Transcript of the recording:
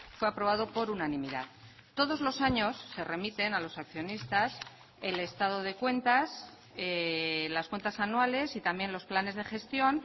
fue aprobado por unanimidad todos los años se remiten a los accionistas el estado de cuentas las cuentas anuales y también los planes de gestión